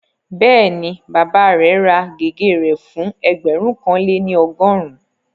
Bẹ́ẹ̀ni, bàbá rẹ̀ ra gègé rẹ̀ fún ẹgbẹ̀rún kan lé ní ọgọ́rùn-ún